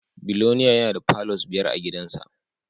Biloniya yana da palours biyar a gidansa